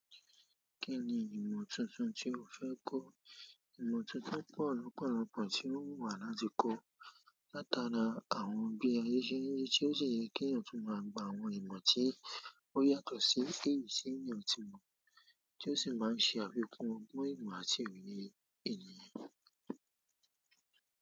Kí ni ìmọ̀ tuntun tí ó fẹ́ kọ́? Ìmọ̀ tí mo fẹ́ pọ̀ lọ́pọ̀lọ́pọ̀ tí o wùn wa láti kọ́. Láti ara àwọn bí ayé ṣe ń ri se, o sì yẹ kí èèyàn tún má gba àwọn ìmọ̀ tí ó yàtọ̀ sí èyí tí èèyàn tí mo, tí o sì má ṣe àfikún ọgbọ́n, ìmọ̀ àti òye ènìyàn.